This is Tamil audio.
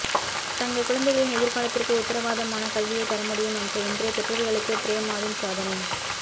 தங்கள் குழந்தைகளின் எதிர்காலத்திற்கு உத்திரவாதமான கல்வியைத் தரமுடியும் என்ற இன்றைய பெற்றோர்களுக்கு பிரேமாவின் சாதனை